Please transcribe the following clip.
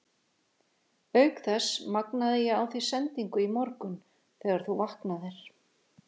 Auk þess magnaði ég á þig sendingu í morgun þegar þú vaknaðir.